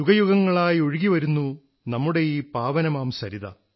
യുഗയുഗങ്ങളായൊഴുകിവരുന്നൂ നമ്മുടെയീ പാവനമാം സരിത